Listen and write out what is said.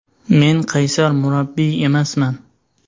Men qaysar murabbiy emasman.